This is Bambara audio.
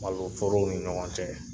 Malo forow ni ɲɔgɔn cɛ.